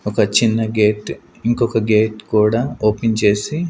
ఒక చిన్న గేట్ ఇంకొక గేట్ కూడా ఓపెన్ చేసి.